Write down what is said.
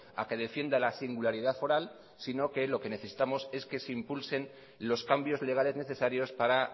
a que defienda la singularidad foral sino que lo que necesitamos es que se impulsen los cambios legales necesarios para